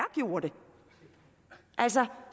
altså